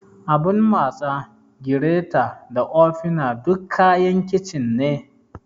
Abun matsa, gireta da ofina duk kayan kicin ne.